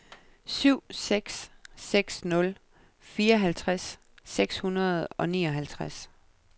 syv seks seks nul fireoghalvtreds seks hundrede og nioghalvtreds